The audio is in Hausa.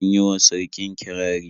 Sun yi wa sarkin kirari.